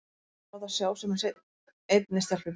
Honum er svo illa við að láta sjá sig með einni stelpu í bíó.